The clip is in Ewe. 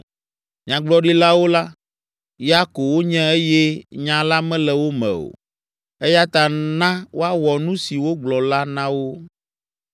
Nyagblɔɖilawo la, ya ko wonye eye nya la mele wo me o, eya ta, na woawɔ nu si wogblɔ la na wo.”